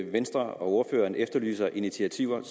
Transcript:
venstre og ordføreren efterlyser initiativer